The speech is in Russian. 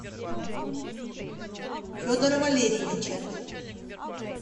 федора валерьевича